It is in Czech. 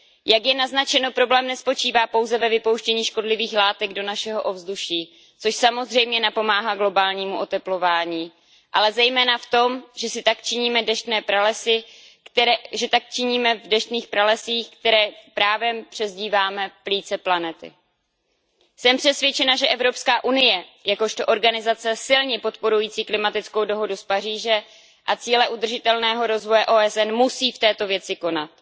Jak je naznačeno, problém nespočívá pouze ve vypouštění škodlivých látek do našeho ovzduší, což samozřejmě napomáhá globálnímu oteplování, ale zejména v tom, že tak činíme v deštných pralesích, kterým právem přezdíváme plíce planety. Jsem přesvědčena, že Evropská unie jakožto organizace silně podporující klimatickou dohodu z Paříže a cíle udržitelného rozvoje OSN musí v této věci konat.